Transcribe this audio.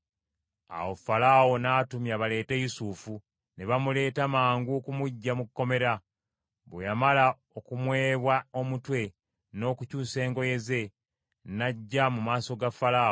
Awo Falaawo n’atumya baleete Yusufu, ne bamuleeta mangu okumuggya mu kkomera. Bwe yamala okumwebwa omutwe n’okukyusa engoye ze, n’ajja mu maaso ga Falaawo.